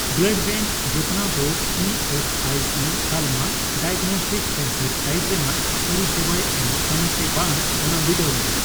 Blood bank ᱡᱚᱛᱚᱱᱟᱣ ᱫᱚ E S I C ᱛᱟᱞᱢᱟ ᱰᱟᱭᱟᱜᱽᱱᱚᱥᱴᱤᱠ ᱥᱮᱱᱴᱟᱨ ᱴᱟᱭᱤᱯ ᱨᱮᱱᱟᱜ ᱯᱚᱨᱤᱥᱮᱵᱟᱭ ᱮᱢᱚᱜ ᱠᱟᱱᱟ ᱥᱮ ᱵᱟᱝ ᱚᱱᱟ ᱵᱤᱰᱟᱹᱣ ᱢᱮ ᱾